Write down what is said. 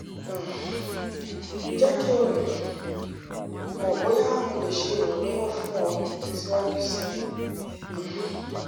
um jẹ ki um n mọ boya mo le ṣe iranlọwọ fun ọ ọ siwaju sii um